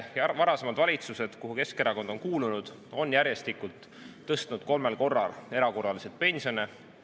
Varasemad valitsused, kuhu Keskerakond on kuulunud, on järjestikku kolmel korral erakorraliselt pensione tõstnud.